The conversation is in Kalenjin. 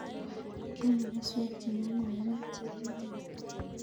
Kiame keswek che nyalilen ak chekikepel